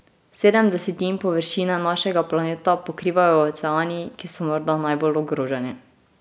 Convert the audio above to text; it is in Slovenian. Sedem desetin površine našega planeta pokrivajo oceani, ki so morda najbolj ogroženi.